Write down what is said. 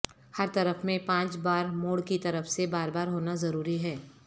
ہر طرف میں پانچ بار موڑ کی طرف سے بار بار ہونا ضروری ہے